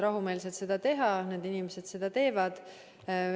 Rahumeelselt võib seda teha, need inimesed seda teevad.